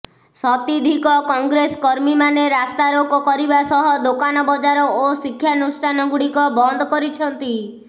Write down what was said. ଶତିଧିକ କଂଗ୍ରେସ କର୍ମୀମାନେ ରାସ୍ତାରୋକ କରିବା ସହ ଦୋକାନ ବଜାର ଓ ଶିକ୍ଷାନୁଷ୍ଠାନଗୁଡିକ ବନ୍ଦ କରିଛନ୍ତି